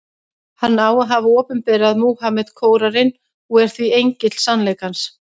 Hann á að hafa opinberað Múhameð Kóraninn, og er því engill sannleikans.